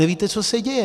Nevíte, co se děje.